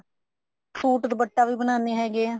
suit ਦੁਪੱਟਾ ਵੀ ਬਣਾਉਂਦੇ ਹੈਗਾ ਹਾਂ